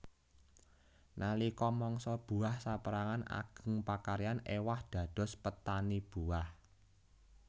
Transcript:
Nalika mangsa buah saperangan ageng pakaryan ewah dados petani buah